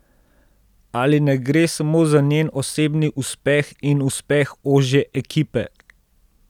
Ali ne gre samo za njen osebni uspeh in uspeh ožje ekipe?